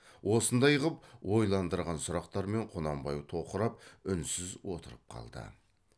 осындай ғып ойландырған сұрақтармен құнанбай тоқырап үнсіз отырып қалды